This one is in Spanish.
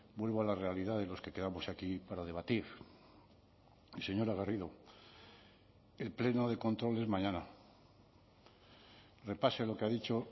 vuelvo a la realidad de los que quedamos aquí para debatir y señora garrido el pleno de control es mañana repase lo que ha dicho